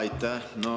Aitäh!